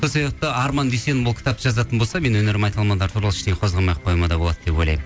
сол себепті арман дүйсенов ол кітапты жазатын болса мен өнер майталмандары туралы ештеңе қозғамай ақ қоюыма да болады деп ойлаймын